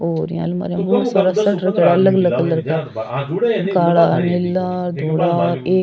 और यहाँ अलमारियां में बहुत सारा शर्ट रखयोड़ो अलग अलग कलर का काला नीला धोला एक --